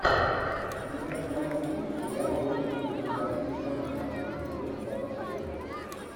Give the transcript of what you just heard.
у тебя в каталоге есть сериал гонки по вертикали сезон тринадцать эпизод двадцать шесть